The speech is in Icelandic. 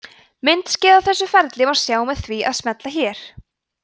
myndskeið af þessu ferli má sjá með því að smella hér